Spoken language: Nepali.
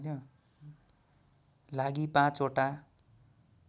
लागि ५ ओटा